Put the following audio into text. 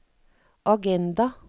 agenda